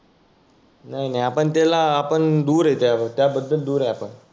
नाही नाही आपण त्याला आपण दुर आहे. त्या बद्दल दुर आहे आपण